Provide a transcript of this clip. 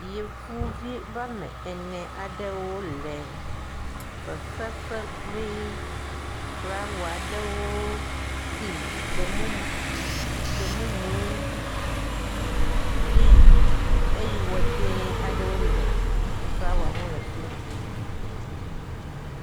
Yevuvi wome ene aɖewo le fefe fem kple flawa aɖewo si gbemumu gbemumu kple eye wɔ dzɛ̃ aɖe le flawa ŋu le afi ma.